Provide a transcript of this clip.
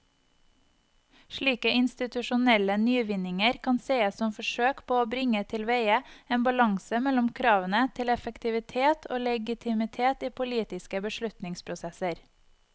Slike institusjonelle nyvinninger kan sees som forsøk på å bringe tilveie en balanse mellom kravene til effektivitet og legitimitet i politiske beslutningsprosesser.